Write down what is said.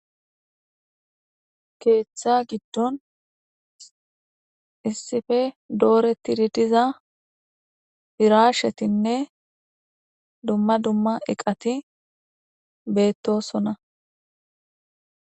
Keeththa giddon issife dooreti diza firashshetinne dumma dumma eqati beettossona